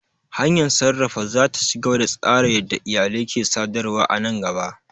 Hanyar sarrafa za ta ci gaba da tsara yadda iyalai ke sadarwa a nan gaba.